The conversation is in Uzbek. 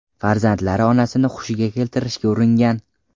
Farzandlari onasini hushiga keltirishga uringan.